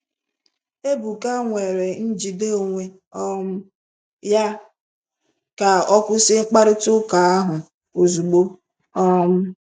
Ebuka nwere njide onwe um ya ka ọ kwụsị mkparịta ụka ahụ ozugbo. um